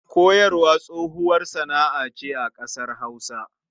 Koyarwa tsohuwar sana'a ce a ƙasar Hausa.